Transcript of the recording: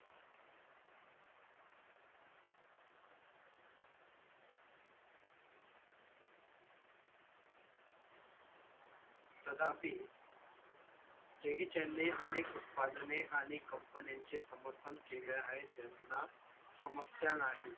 त्यांना jackie chan ने अनेक उत्पादने आणि company ची समर्थन केले आहेत यांना समस्या नाही